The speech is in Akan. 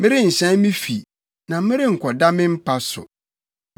“Merenhyɛn me fi na merenkɔda me mpa so,